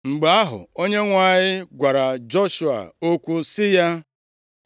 Mgbe ahụ, Onyenwe anyị gwara Joshua okwu sị ya,